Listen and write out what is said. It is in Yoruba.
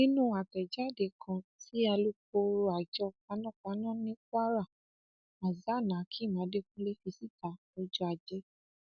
nínú àtẹjáde kan tí alūkkoro àjọ panápaná ni kwara hasanhakeem adekunle fi síta lọjọ ajé